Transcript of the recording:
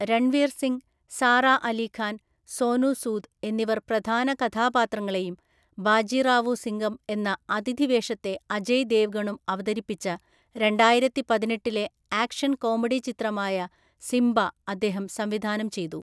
രൺവീർ സിംഗ്, സാറാ അലി ഖാൻ, സോനു സൂദ് എന്നിവർ പ്രധാനകഥാപാത്രങ്ങളെയും ബാജിറാവു സിംഗം എന്ന അതിഥിവേഷത്തെ അജയ് ദേവ്ഗണും അവതരിപ്പിച്ച രണ്ടായിരത്തിപതിനെട്ടിലെ ആക്ഷൻ കോമഡിചിത്രമായ സിംബ അദ്ദേഹം സംവിധാനം ചെയ്തു.